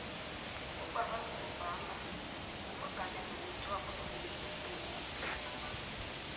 ubarack obama mumongameli wokuthoma onzima esewula afrika